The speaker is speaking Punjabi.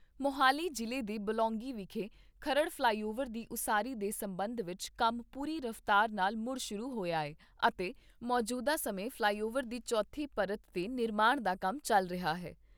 ਮੋਹਾਲੀ ਜਿਲ੍ਹੇ ਦੇ ਬਲੌਂਗੀ ਵਿਖੇ ਖਰੜ ਫਲਾਈਓਵਰ ਦੀ ਉਸਾਰੀ ਦੇ ਸੰਬੰਧ ਵਿਚ ਕੰਮ ਪੂਰੀ ਰਫਤਾਰ ਨਾਲ ਮੁੜ ਸ਼ੁਰੂ ਹੋਇਆ ਹੈ ਅਤੇ ਮੌਜੂਦਾ ਸਮੇਂ ਫਲਾਈਓਵਰ ਦੀ ਚੌਥੀ ਪਰਤ 'ਤੇ ਨਿਰਮਾਣ ਦਾ ਕੰਮ ਚੱਲ ਰਿਹਾ ਹੈ।